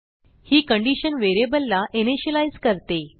ही condition व्हेरिएबलला initialise करते